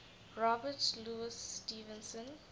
robert louis stevenson